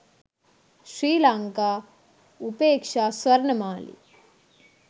sri lanka upeksha swarnamali